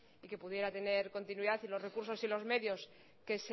y que pudiera tener continuidad y los recursos y los medios que